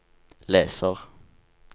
leser